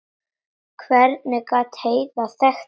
Hvernig gat Heiða þekkt hann?